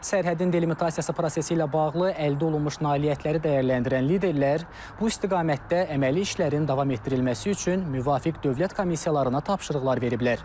Sərhədin delimitasiyası prosesi ilə bağlı əldə olunmuş nailiyyətləri dəyərləndirən liderlər bu istiqamətdə əməli işlərin davam etdirilməsi üçün müvafiq dövlət komissiyalarına tapşırıqlar veriblər.